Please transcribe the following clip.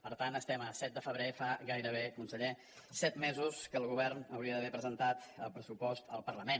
per tant estem a set de febrer fa gairebé conseller set mesos que el govern hauria d’haver presentat el pressupost al parlament